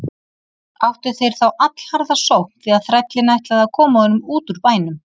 Áttu þeir þá allharða sókn því að þrællinn ætlaði að koma honum út úr bænum.